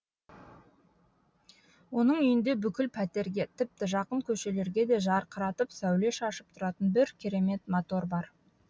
оның үйінде бүкіл пәтерге тіпті жақын көшелерге де жарқыратып сәуле шашып тұратын бір керемет мотор бар